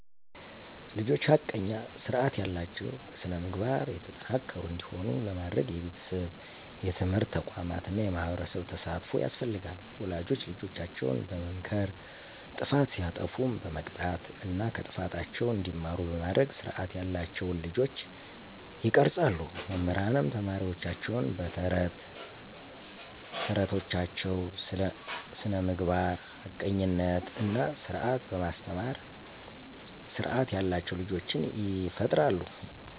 ልጆች ሐቀኛ፣ ስርዐት ያላቸው፣ በስነ-ምግባር የተጠናከሩ እንዲሆኑ ለማድረግ የቤተሰብ፣ የትምህርት ተቋማት እና የማህበረሰብ ተሳትፎ ያስፈልጋል። ወላጆች ልጆቻቸውን በመምከር ጥፋት ሲያጠፉም በመቅጣት እና ከጥፋታቸው እንዲማሩ በማድረግ ስርዐት ያላቸውን ልጆች ይቀርፃሉ። መምህራንም ተማሪወቻቸውን በ ተረት ተረቶቻቸው ስለ ስነምግባር፣ ሀቀኝነት እና ስርዐት በማስተማር ስርዓት ያላቸው ልጆችን ይፈጥራሉ።